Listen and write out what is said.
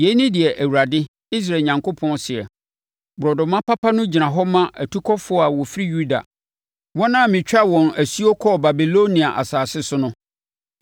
“Yei ne deɛ Awurade, Israel Onyankopɔn seɛ: ‘Borɔdɔma papa no gyina hɔ ma atukɔfoɔ a wɔfiri Yuda, wɔn a metwaa wɔn asuo kɔɔ Babilonia asase so no.